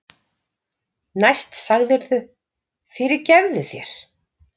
Næst sagðirðu: Fyrirgefðu þér